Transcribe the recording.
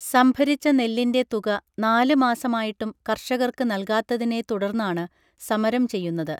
സംഭരിച്ച നെല്ലിന്റെ തുക നാല് മാസമായിട്ടും കർഷകർക്ക് നൽകാത്തതിനെ തുടർന്നാണ് സമരം ചെയ്യുന്നത്